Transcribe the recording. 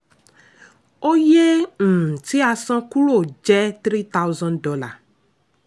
oye um tí a san kúrò jẹ́ three thousand dollar